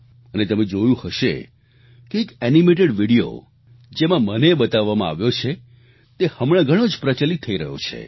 અને તમે જોયું હશે કે એક એનિમેટેડ વીડિયો જેમાં મને બતાવવામાં આવ્યો છે તે હમણાં ઘણો જ પ્રચલિત થઈ રહ્યો છે